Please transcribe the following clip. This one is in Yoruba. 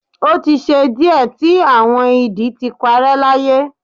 o ti ṣe diẹ ti awọn idi ti parẹ́ láyé